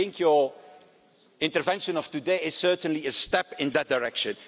union. And I think your intervention of today is certainly a step in that direction.